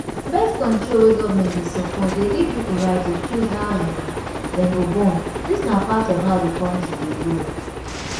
birth-control wey government dey support dey give pipo right to choose how um dem go bornthis na part of how di country go grow